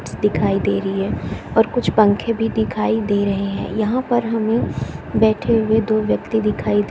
ट्स दिखाई दे रही है और कुछ पंखे भी दिखाई दे रहै है यहाँ पर हमें बैठे हुए दो व्यक्ति दिखाई --